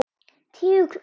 Tígull út.